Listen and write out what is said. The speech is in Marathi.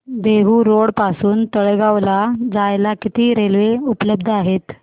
देहु रोड पासून तळेगाव ला जायला किती रेल्वे उपलब्ध आहेत